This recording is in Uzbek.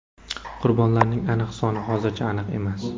Qurbonlarning aniq soni hozircha aniq emas.